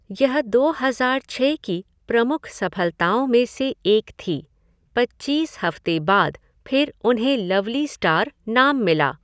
यह दो हज़ार छः की प्रमुख सफलताओं में से एक थी, पच्चीस हफ़्ते बाद फ़िर उन्हें लवली स्टार नाम मिला।